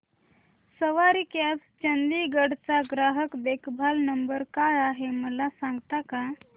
सवारी cabs Chandigarh चा ग्राहक देखभाल नंबर काय आहे मला सांगता का